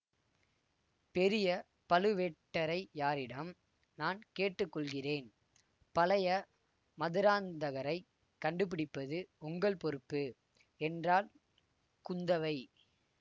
பெரிய பழுவேட்டரையாரிடம் நான் கேட்டு கொள்கிறேன் பழைய மதுராந்தகரைக் கண்டுபிடிப்பது உங்கள் பொறுப்பு என்றாள் குந்தவை